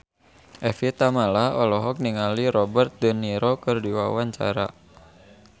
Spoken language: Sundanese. Evie Tamala olohok ningali Robert de Niro keur diwawancara